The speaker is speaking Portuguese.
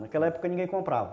Naquela época ninguém comprava.